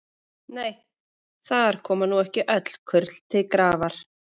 Nei, þar koma nú ekki öll kurl til grafar.